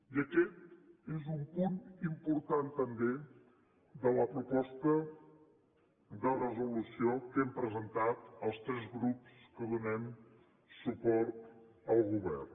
i aquest és un punt important també de la proposta de resolució que hem presentat els tres grups que donem suport al govern